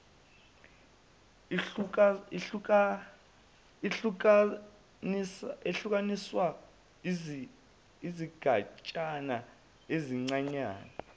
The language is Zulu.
ihlukaniswa izigatshana ezincanyana